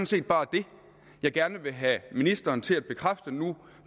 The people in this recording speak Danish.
set bare det jeg gerne vil have ministeren til at bekræfte nu